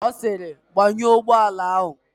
Ọ sịrị, "gbanyụọ ụgbọala áhụ̀"!